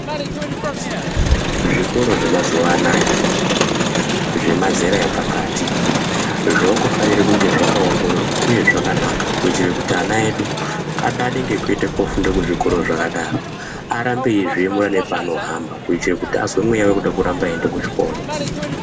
Zvikoro zvemazuwa anaya zvemazera epakati zvakufanira kunge zvakaongororwa uye zvakanaka kuitire kuti ana edu adade ngekuende kofunda kuzvikoro zvakadaro arambe eizviemura nepaanohamba kuitire kuti arambe eizwa mweya wekuda kuramba einda kuzvikora.